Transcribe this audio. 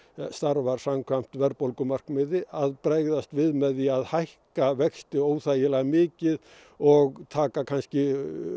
starfar samkvæmt verðbólgumarkmiði að bregðast við með því að hækka vexti óþægilega mikið og taka kannski